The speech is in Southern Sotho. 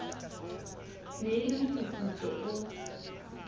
ne e le mofufutso o